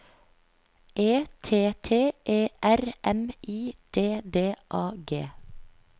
E T T E R M I D D A G